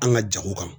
An ka jago kan